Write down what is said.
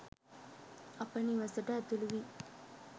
අප නිවසට ඇතුළු වී